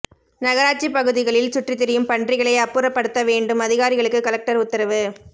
நகராட்சி பகுதிகளில் சுற்றித்திரியும் பன்றிகளை அப்புறப்படுத்த வேண்டும் அதிகாரிகளுக்கு கலெக்டர் உத்தரவு